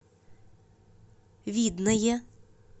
видное